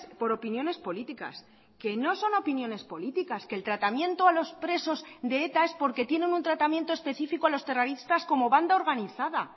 por opiniones políticas que no son opiniones políticas que el tratamiento a los presos de eta es porque tienen un tratamiento específico a los terroristas como banda organizada